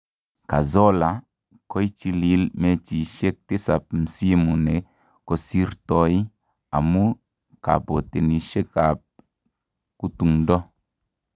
Cazorla, koichilil mechisiek tisab msimu ne kosirtoi amu kabotenisietab kutungdo.